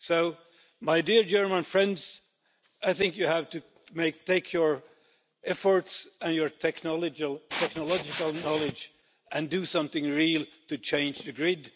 So, my dear German friends, I think you have to take your efforts and your technological knowledge and do something real to change the grid.